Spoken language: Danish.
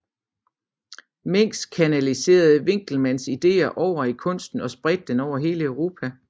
Mengs kanaliserede Winckelmanns ideer over i kunsten og spredte den over hele Europa